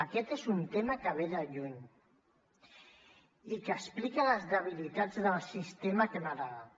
aquest és un tema que ve de lluny i que explica les debilitats del sistema que hem heretat